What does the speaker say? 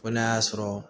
Ko n'a y'a sɔrɔ